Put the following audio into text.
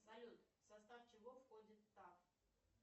салют в состав чего входит тав